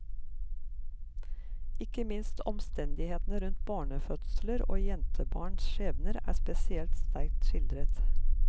Ikke minst omstendighetene rundt barnefødsler og jentebarns skjebner er spesielt sterkt skildret.